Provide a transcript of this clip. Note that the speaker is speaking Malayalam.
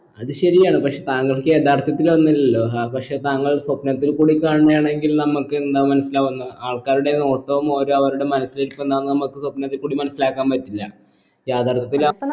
അത് ശരിയാണ് പക്ഷെ താങ്കൾക്ക് യഥാർത്ഥത്തിൽ ഒന്നില്ലല്ലോ അത് പക്ഷെ താങ്കൾ സ്വപ്നത്തിൽ കൂടി കാണുന്നയാണെങ്കിൽ നമ്മക്ക് എന്താ മനസിലാവുന്നേ ആൾക്കാരുടെ നോട്ടവും ഓരോ അവരുടെ മനസിലേക്ക് എന്താന്ന് നമ്മക്ക് സ്വപ്നത്തി കൂടി മനസിലാക്കാൻ പറ്റില്ല യഥാർത്ഥത്തിൽ ആ